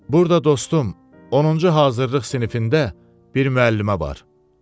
Burada dostum, 10-cu hazırlıq sinifində bir müəllimə var.